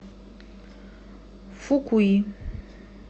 фукуи